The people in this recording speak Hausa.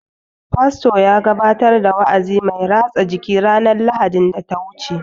Fasto ya gabatar da wa'azi mai rasa jiki ranar Lahadin daya wuce